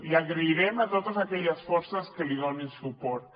i donar les gràcies a totes aquelles forces que hi donin suport